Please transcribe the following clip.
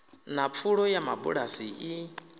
na pfulo ya mabulasi i